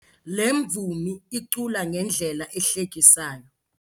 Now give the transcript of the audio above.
Le mvumi icula ngendlela ehlekisayo.